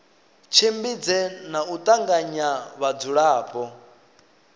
tshimbidze na u tanganya vhadzulapo